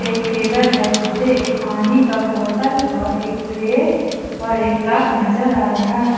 Table है जिसपे एक पानी का बोतल और एक ट्रे और एक कप नजर आ रहा है।